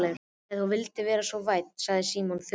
Ef þú vildir vera svo vænn sagði Símon þurrlega.